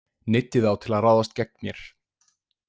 Neyddi þá til að ráðast gegn mér.